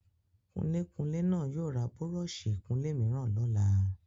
Kunlékunlé náà yóò ra búrọ́ọ̀sì ìkunlé mìíràn lọ́la.